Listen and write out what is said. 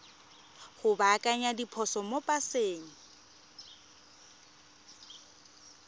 go baakanya diphoso mo paseng